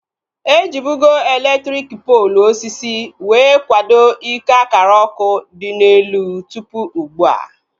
Ejibugo elektriki poolu osisi wee kwado ike akara ọkụ dị n'elu tụpụ ugbua